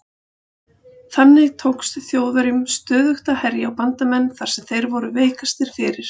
Þannig tókst Þjóðverjum stöðugt að herja á bandamenn þar sem þeir voru veikastir fyrir.